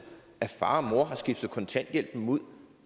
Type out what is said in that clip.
at far og mor har skiftet kontanthjælpen ud